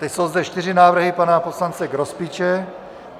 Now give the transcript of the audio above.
Teď jsou zde čtyři návrhy pana poslance Grospiče.